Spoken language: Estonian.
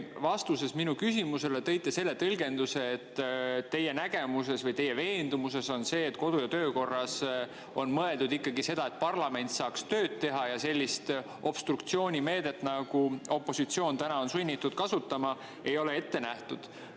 Te vastuses minu küsimusele tõite selle tõlgenduse, et teie nägemus või teie veendumus on, et kodu‑ ja töökorras on mõeldud ikkagi seda, et parlament saaks tööd teha, ja sellist obstruktsioonimeedet, nagu opositsioon täna on sunnitud kasutama, ei ole ette nähtud.